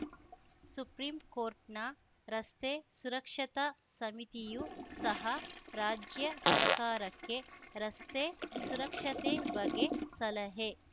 supreme ಕೋರ್ಟ್‌ನ ರಸ್ತೆ ಸುರಕ್ಷತಾ ಸಮಿತಿಯೂ ಸಹ ರಾಜ್ಯ ಸರ್ಕಾರಕ್ಕೆ ರಸ್ತೆ ಸುರಕ್ಷತೆ ಬಗ್ಗೆ ಸಲಹೆ